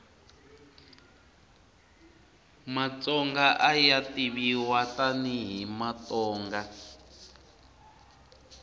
matsonga aya tiviwa tani hi matonga